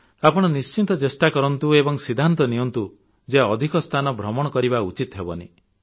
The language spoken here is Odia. ଆପଣ ନିଶ୍ଚିତ ଚେଷ୍ଟା କରନ୍ତୁ ଏବଂ ସିଦ୍ଧାନ୍ତ ନିଅନ୍ତୁ ଯେ ଅଧିକ ସ୍ଥାନ ଭ୍ରମଣ କରିବା ଉଚିତ୍ ହେବନାହିଁ